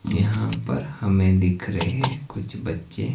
यहां पर हमें दिख रहे हैं कुछ बच्चे--